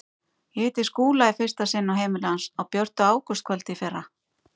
Ég hitti Skúla í fyrsta sinn á heimili hans á björtu ágústkvöldi í fyrra.